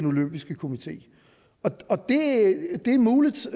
olympiske komité det er muligt